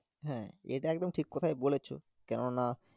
হ্যাঁ, এটা একদম ঠিক কথা ই বলেছো, কেননা